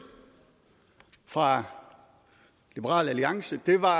fra liberal alliance var